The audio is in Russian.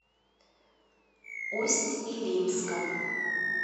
усть илимском